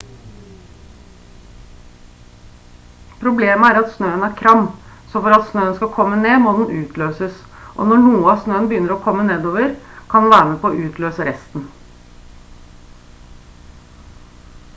problemet er at snøen er kram så for at snøen skal komme ned må den utløses og når noe av snøen begynner å kommer nedover kan den være med på å utløse resten